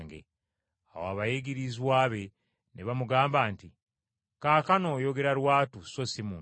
Awo abayigirizwa be ne bamugamba nti, “Kaakano oyogera lwatu, so si mu ngero.